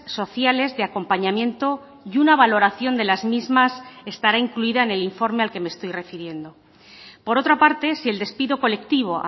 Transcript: sociales de acompañamiento y una valoración de las mismas estará incluida en el informe al que me estoy refiriendo por otra parte si el despido colectivo